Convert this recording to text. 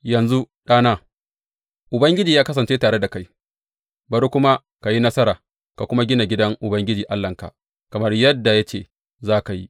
Yanzu, ɗana, Ubangiji ya kasance tare da kai, bari kuma ka yi nasara ka kuma gina gidan Ubangiji Allahnka, kamar yadda ya ce za ka yi.